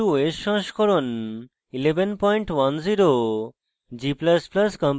ubuntu os সংস্করণ 1110